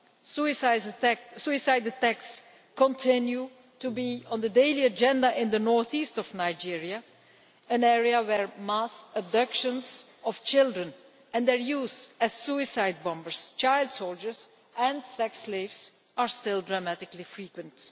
Suicide attacks continue to be on the daily agenda in the north east of Nigeria, an area where mass abductions of children and their use as suicide bombers, child soldiers and sex slaves are still dramatically frequent.